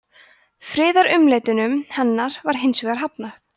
friðarumleitunum hennar var hins vegar hafnað